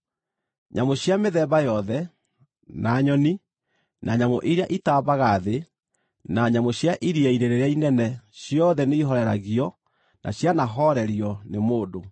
Nyamũ cia mĩthemba yothe, na nyoni, na nyamũ iria itambaga thĩ, na nyamũ cia iria-inĩ rĩrĩa inene ciothe nĩihooreragio na cianahoorerio nĩ mũndũ,